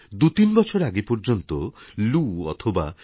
দু তিন বছর আগে পর্যন্ত লু অথবা